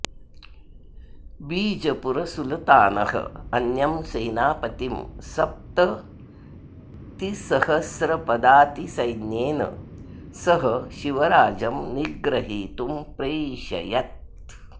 बीजपुरसुलतानः अन्यं सेनापतिं सप्ततिसहस्रपदातिसैन्येन सह शिवराजं निग्रहीतुं प्रैषयत्